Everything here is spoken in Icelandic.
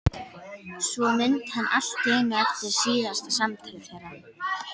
Svo mundi hann allt í einu eftir síðasta samtali þeirra.